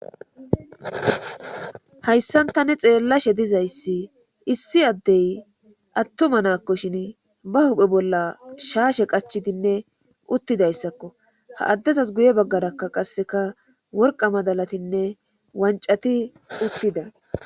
Hayssan tani xeellashe dizayssi issi addey attuma naakko shin ba huphe bolla shaashe qachidinne uttidayssakko ha addezas guye baggarakka qasseka worqa madalatinne wancati uttida.